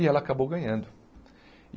E ela acabou ganhando.